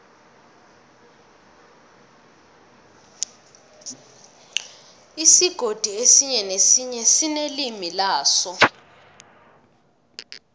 isigodi esinye nesinye sinelimi laso